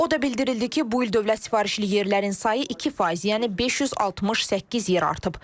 O da bildirildi ki, bu il dövlət sifarişli yerlərin sayı 2%, yəni 568 yer artıb.